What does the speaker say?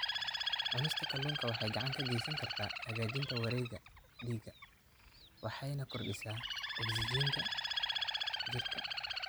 Cunista kalluunka waxay gacan ka geysan kartaa hagaajinta wareegga dhiigga waxayna kordhisaa ogsijiinta jirka.